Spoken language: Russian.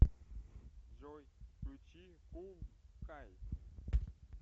джой включи кул кайт